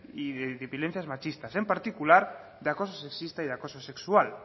y de violencias machistas en particular de acoso sexista y de acoso sexual